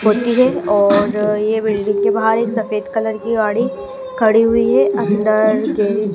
होती है और ये बिल्डिंग के बाहर एक सफेद कलर की गाड़ी खड़ी हुई है अंदर गेरेज --